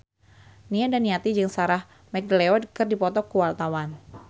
Nia Daniati jeung Sarah McLeod keur dipoto ku wartawan